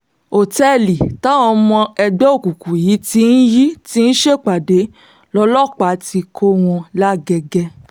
ọ̀tẹ́ẹ̀lì táwọn ọmọ ẹgbẹ́ òkùnkùn yìí ti yìí ti ń ṣèpàdé lọ́lọ́pàá ti kọ́ wọn làgẹ̀gẹ̀